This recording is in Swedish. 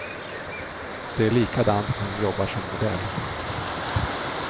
Det är likadant när hon jobbar som modell.